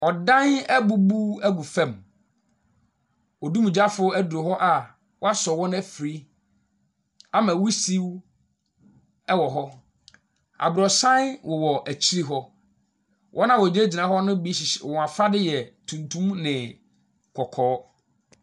Ɔdan abubu agu famu, odumgyafo aduru hɔ a wɔasɔ wɔn afiri ama wusiw wɔ hɔ, abrɔsan wowɔ akyire hɔ. Wɔn a wɔgyinagyina hɔ ne bi hyehy wɔn afade yɛ tuntum ne kɔkɔɔ.